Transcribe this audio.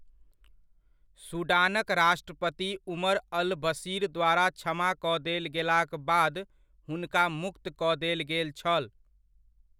सूडानक राष्ट्रपति Omar al Bashir द्वारा क्षमा कऽ देल गेलाक बाद हुनका मुक्त कऽ देल गेल छल।